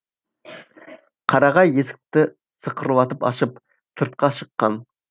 қарағай есікті сықырлатып ашып сыртқа шыққан